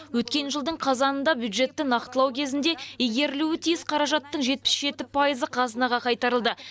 өткен жылдың қазанында бюджетті нақтылау кезінде игерілуі тиіс қаражаттың жетпіс жеті пайызы қазынаға қайтарылды